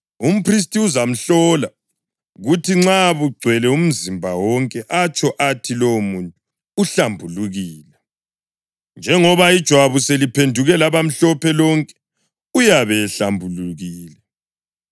umphristi uzamhlola, kuthi nxa bugcwele umzimba wonke, atsho athi lowomuntu uhlambulukile. Njengoba ijwabu seliphenduke labamhlophe lonke, uyabe ehlambulukile.